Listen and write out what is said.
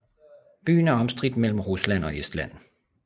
Byen er omstridt mellem Rusland og Estland